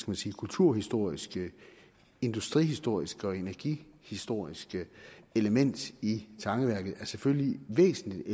man sige kulturhistoriske industrihistoriske og energihistoriske element i tangeværket selvfølgelig er væsentligt